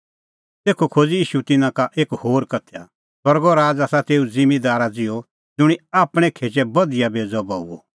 तेखअ खोज़अ ईशू तिन्नां का एक होर उदाहरण स्वर्गो राज़ आसा तेऊ ज़िम्मींदारा ज़िहअ ज़ुंणी आपणैं खेचै बधिया बेज़अ बऊअ